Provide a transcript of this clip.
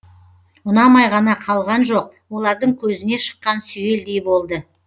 ұнамай ғана қалған жоқ олардың көзіне шыққан сүйелдей болды